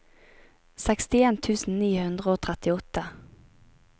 sekstien tusen ni hundre og trettiåtte